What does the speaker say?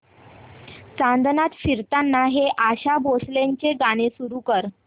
चांदण्यात फिरताना हे आशा भोसलेंचे गाणे सुरू कर